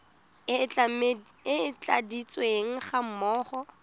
e e tladitsweng ga mmogo